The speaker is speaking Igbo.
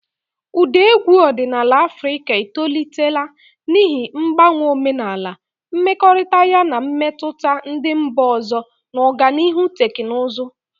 Ụda egwu ọdịnala Afrịka etolitela n'ihi mgbanwe omenala, mmekọrịta ya na mmetụta ndị mba ọzọ, na ọganihu teknụzụ.